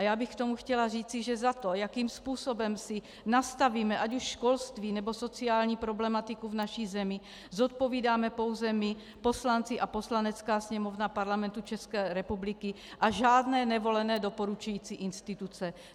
A já bych k tomu chtěla říci, že za to, jakým způsobem si nastavíme ať už školství, nebo sociální problematiku v naší zemi, zodpovídáme pouze my poslanci a Poslanecká sněmovna Parlamentu České republiky a žádné nevolené doporučující instituce.